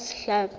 a saense a hlapi e